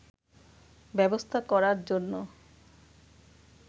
ব্যবস্থা করার জন্য